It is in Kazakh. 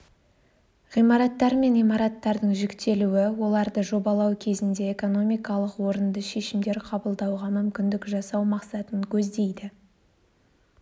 ғимараттар мен имараттардың жіктелуі оларды жобалау кезінде экономикалық орынды шешімдер қабылдауға мүмкіндік жасау мақсатын көздейді